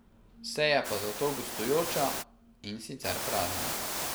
Se je pa zato gostujoča, in sicer prazna.